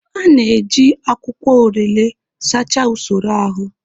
A na-eji akwụkwọ orelè sachaa usoro ahụ.